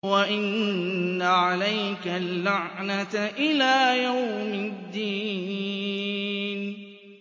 وَإِنَّ عَلَيْكَ اللَّعْنَةَ إِلَىٰ يَوْمِ الدِّينِ